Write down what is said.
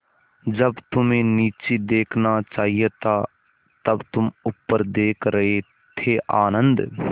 जब तुम्हें नीचे देखना चाहिए था तब तुम ऊपर देख रहे थे आनन्द